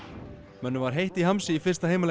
mönnum var heitt í hamsi í fyrsta heimaleik